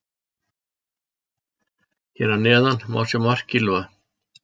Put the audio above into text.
Hér að neðan má sjá mark Gylfa.